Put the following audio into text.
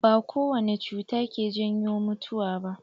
Ba kowane cuta ke janyo mutuwa ba.